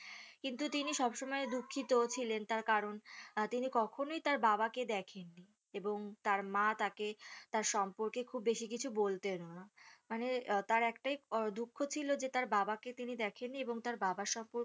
কিন্তু তিনি সব সময় দুঃখিত ছিলেন তার কারণ আহ তিনি কখনোই তার বাবাকে দেখেননি এবং তার মা তাকে তার সম্পর্কে খুব বেশি কিছু বলতেন না মানে তার একটাই দুঃখ ছিল যে তার বাবাকে তিনি দেখেননি এবং তার বাবার সম্পর্কে